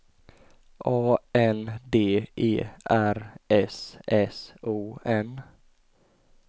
A N D E R S S O N